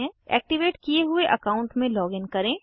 activate किये हुए account में लॉगिन करें